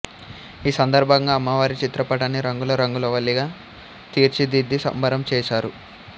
ఈ సందర్భంగా అమ్మవారి చిత్రపటాన్ని రంగుల రంగవల్లిగా తీచిదిద్ది సంబరం చేసారు